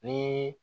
Ni